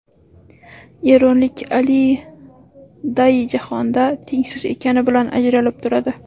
Eronlik Ali Dayi jahonda tengsiz ekani bilan ajralib turadi.